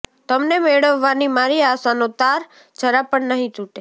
તમને મેળવવાની મારી આશાનો તાર જરા પણ નહિ તૂટે